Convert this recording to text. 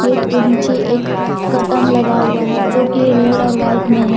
Plate के नीचे एक कटन लगा हुआ है जो कि रेड और व्हाइट में है।